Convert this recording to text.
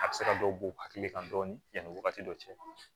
A bɛ se ka dɔ b'u hakili kan dɔɔni yani wagati dɔ cɛ